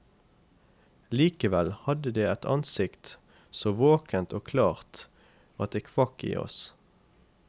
Likevel hadde det et ansikt så våkent og klart at det kvakk i oss.